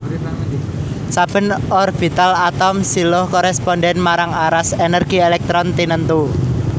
Saben orbital atom siluh korèspondhèn marang aras ènèrgi èlèktron tinentu